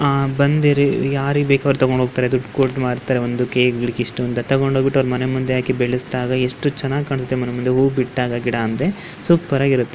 ಆಹ್ಹ್ ಬಂದಿರಿ ಯಾರಿಗ್ ಬೇಕೋ ಅವ್ರ್ ತಕೊಂಡ್ ಹೋಗ್ತಾರೆ ದುಡ್ಡ್ ಕೋಟ್ ಮಾರ್ತಾರೆ ಒಂದಕ್ಕೆ ಗಿಡಕ್ಕೆ ಇಷ್ಟ್ಟು ಅಂತ ತಗೊಂಡ್ ಹೋಗ್ಬಿಟ್ಟು ಅವ್ರ್ ಮನೆ ಮುಂದೆ ಬೆಲ್ಸ್ದಾಗ ಎಷ್ಟು ಚೆನ್ನಾಗ್ ಕಾಣ್ಸತ್ತೆ ಮನೆ ಮುಂದೆ ಹೂವು ಬಿಟ್ಟ ಅಂದ್ರೆ ಸೂಪರ್ ಆಗ್ ಇರತ್ತೆ.